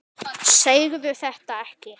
Segðu þetta ekki.